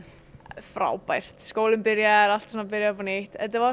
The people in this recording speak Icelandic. frábært skólinn byrjaður allt byrjað upp á nýtt þetta var